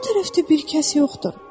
O tərəfdə bir kəs yoxdur.